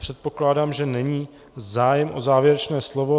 Předpokládám, že není zájem o závěrečné slovo.